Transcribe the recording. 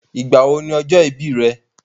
Ìgbà wo ni ọjọ́ ìbí rẹ?